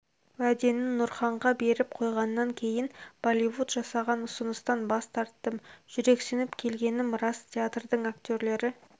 уәдені нұрханға беріп қойғаннан кейін болливуд жасаған ұсыныстан бас тарттым жүрексініп келгенім рас театрдың актерлері